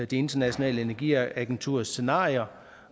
det internationale energiagenturs scenarier